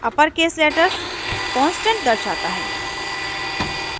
अपर case letters constant दर्शाता है